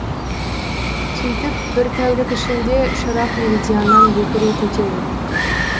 сөйтіп бір тәулік ішінде шырақ меридианнан екі рет өтеді